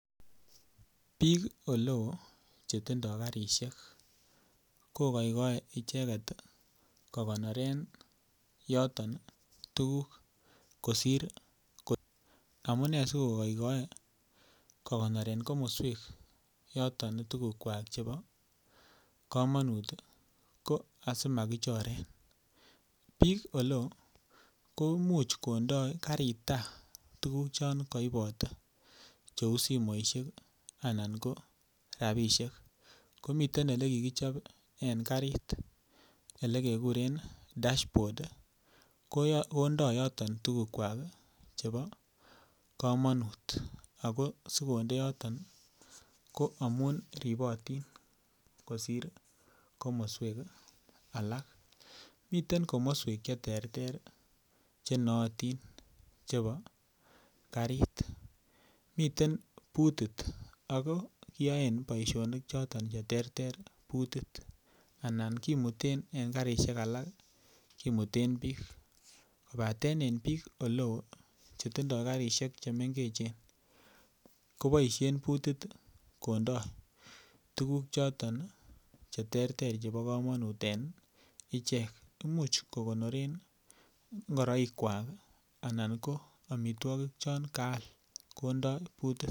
Bik oleo Chetindoi karisiek ko kogoigoe icheget ko konoren yoton tuguk amune asi kogoigoe kokonoren komoswek yoton tugukwak chebo kamanut ko asi makichoren bik oleo komuch konde karit tai tuguk Che kaibote cheu simoisiek Anan ko rabisiek komiten Ole kikichob en karit Ole kekuren dashbod kondo yoton tugukwak chebo kamanut ago asi konde yoton ko amun ribotin kosir komoswek alak miten komoswek Che terter Che nootin chebo Karit miten butit ako kiyoen boisionik choton Che terter butit anan en karisiek alak kimuten bik kobaten en bik oleo Chetindoi karisiek Che mengechen ko boisien butit kondoi tuguk choton Che terter chebo kamanut en ichek Imuch kogonoren ngoroikwak anan ko amitwogik chon kaal kondoi butit